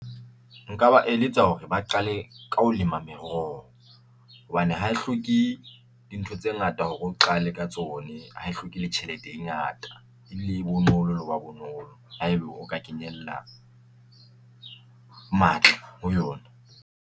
Nka ba eletsa hore ba qale ka ho lema meroho hobane ha e hloke dintho tse ngata hore o qale ka tsone ha e hloke le tjhelete e ngata e bile e bonolo le ho ba bonolo haebe o ka kenella matla ho yona.